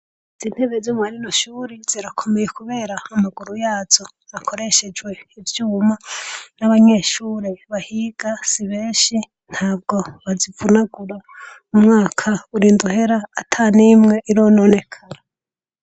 Intebe za mwarino shure kubera ko amaguru yazo akoreshejwe ivyuma nabanyeshure bahiga sibenshi ntabwo bazivunagura umwaka urinda uhera atanimwe irononekara.